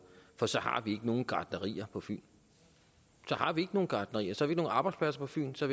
for så har vi ikke nogen gartnerier på fyn så har vi ikke nogen gartnerier så vi nogen arbejdspladser på fyn så